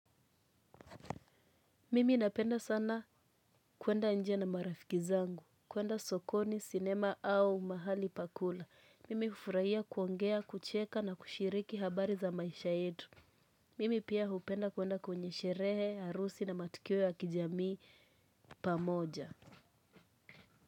Mimi napenda sana kuenda nje na marafiki zangu, kuenda sokoni, sinema au mahali pa kula. Mimi hufurahia kuongea, kucheka na kushiriki habari za maisha yetu. Mimi pia hupenda kuenda kwenye sherehe, harusi na matukio ya kijamii pamoja.